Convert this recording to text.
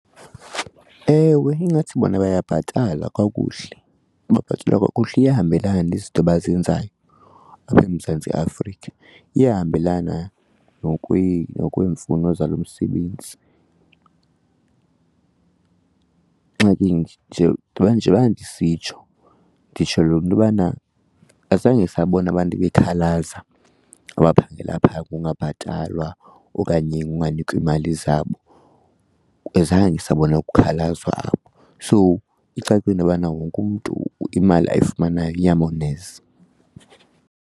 Ewe, ingathi bona bayabhatalwa kakuhle, babhatalwa kakuhle. Iyahambelana nezi zinto bazenzayo apha eMzantsi Afrika, iyahambelana nokweemfuno zalo msebenzi. Ingxaki nje nje njeba ndisitsho, nditsholo intobana azange sabona abantu bekhalaza abaphangela phaa kungabhatalwa okanye unganikwa iimali zabo, zange sabona kukhalazwa apho. So icacile intobana wonke umntu imali ayifumanayo iyamoneza.